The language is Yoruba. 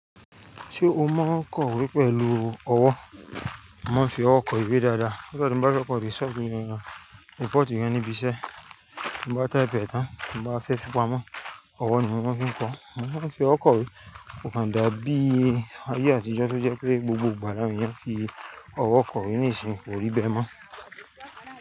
Ṣé o mọ n kọ̀wé pẹ̀lú ọwọ́? Wọ́n fi ọwọ́ kọ ìwé dáadáa. Nígbà tín bá fẹ́ kọ ìrísọ̀ ní ìran, report ìwé níbi iṣẹ́, tí wọ́n bá tẹ épè tán, tí wọ́n bá fẹ́ fi pamọ́, ọwọ́ ni wọ́n fi ń kọ. Wọ́n fi ọwọ́ kọ̀wé, kò kan dàbí ayé àtijọ́ tó jẹ́ pé gbogbo ìgbàlà yẹn fi ọwọ́ kọ ìwé ní ìsìn, kò rí bẹ́ mọ́.